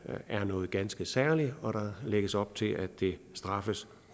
er noget ganske særligt og der lægges op til at det straffes